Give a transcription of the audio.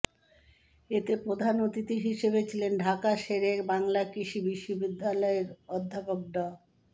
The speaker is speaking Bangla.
এতে প্রধান অতিথি হিসেবে ছিলেন ঢাকা শেরে বাংলা কৃষি বিশ্ববিদ্যালয়ের অধ্যাপক ড